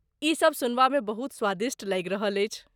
ई सभ सुनबामे बहुत स्वादिष्ट लागि रहल अछि।